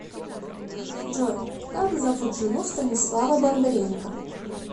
джой как зовут жену станислава бондаренко